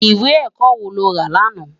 Iwé èkò wó ló rá làná?